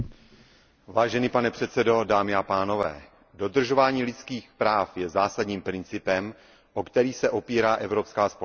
Vážený pane předsedající, dodržování lidských práv je zásadním principem, o který se opírá evropská společnost.